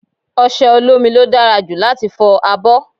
Ọṣẹ olómi ló dára jù láti fọ abọ́.